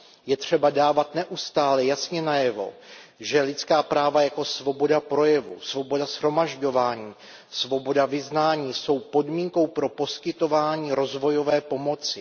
Je třeba dávat neustále jasně najevo, že lidská práva, jako je svoboda projevu, svoboda shromažďování, svoboda vyznání, jsou podmínkou pro poskytování rozvojové pomoci.